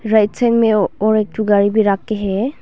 Right side में और एक ठो गाडी भी रखी है।